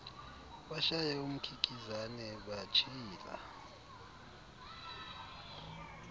bashaya umkikizane batshila